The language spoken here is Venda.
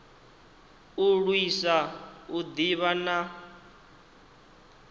u lwisa u ḓivha na